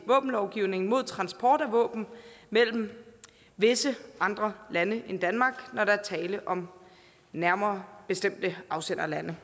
våbenlovgivningen mod transport af våben mellem visse andre lande end danmark når der er tale om nærmere bestemte afsenderlande